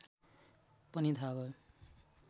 पनि थाह भयो